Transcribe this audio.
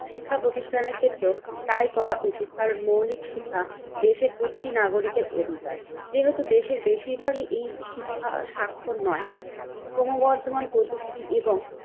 শিক্ষাপ্রতিষ্ঠানের ক্ষেত্র তাই করা উচিত কারণ মৌলিক শিক্ষা দেশের প্রতিটি নাগরিকের অধিকার। যেহেতু দেশের বেশিরভাগই এই শিক্ষার স্বাক্ষর নয় ক্রমবর্ধমান প্রযুক্তি এবং